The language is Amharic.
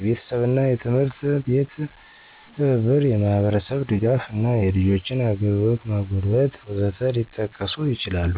የቤተሰብና የትምህርት አቤት ትብብር፣ የማህብርስብ ድጋፍ እና የልጆችን አግልግሎት ማጎልበት..... ወዘት ሊጠቀሱ ይችላሉ።